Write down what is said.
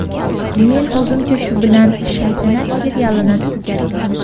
Men o‘zimcha shu bilan ‘Shaytanat’ serialini tugatdim.